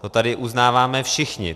To tady uznáváme všichni.